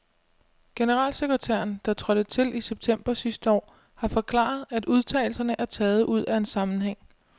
Generalsekretæren, der trådte til i september sidste år, har forklaret, at udtalelserne er taget ud af en sammenhæng.